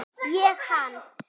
Ég hans.